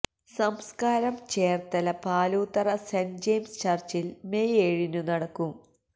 സംസ്കാരം Cherthala Paloothara saint James ചര്ച്ചില് May ഏഴിനു നടക്കും